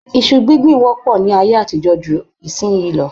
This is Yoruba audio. Iṣu gbíngbì wọ́pọ̀ ní ayé àtijọ́ ju ayé ìsin yìí lọ